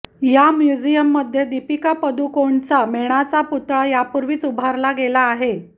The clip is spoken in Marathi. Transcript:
या म्युझियममध्ये दीपिका पदुकोणचा मेणाचा पुतळा यापूर्वीच उभारला गेला आहे